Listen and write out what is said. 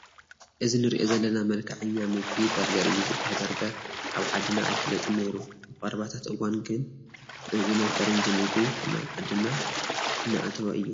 እዚ ንሪኦ ዘለና መልክዐኛ ምግቢ በርገር እዩ ዝመስል፡፡ በርገር ኣብ ዓድና ኣይፍለጥን ነይሩ ኣብ ቀረባታት እዋን ግን እዚ ናይ ፈረንጂ ምግቢ ናብ ዓድና እናኣተወ እዩ፡፡